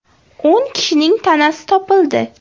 O‘n kishining tanasi topildi.